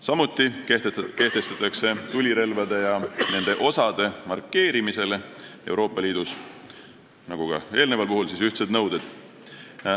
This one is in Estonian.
Samuti kehtestatakse tulirelvade ja nende osade markeerimisele Euroopa Liidus ühtsed nõuded.